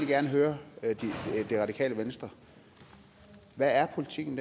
gerne høre det radikale venstre hvad er politikken